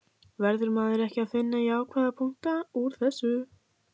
Verður maður ekki að finna jákvæða punkta útúr þessu?